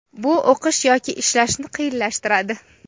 bu o‘qish yoki ishlashni qiyinlashtiradi.